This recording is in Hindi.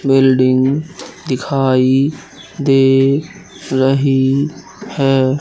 बिल्डिंग दिखाई दे रही है।